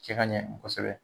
Cɛ ka ɲɛ kosɛbɛ